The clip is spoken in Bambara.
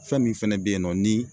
Fɛn min fɛnɛ be yen nɔ ni